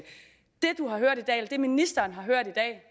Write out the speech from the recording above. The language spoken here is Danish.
det ministeren har hørt i dag